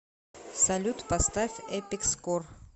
салют поставь эпик скор